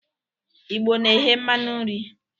Igbo na-eghe mmanu nri.